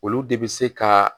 Olu de bɛ se ka